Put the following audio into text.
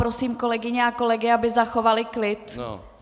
Prosím kolegyně a kolegy, aby zachovali klid.